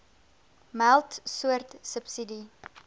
meld soort subsidie